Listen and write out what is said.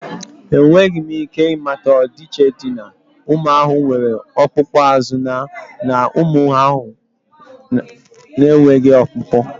Enweghị m ike ịmata ọdịiche dị na ụmụ ahụhụ nwere ọkpụkpụ azụ na ụmụ ahụhụ na-enweghị ọkpụkpụ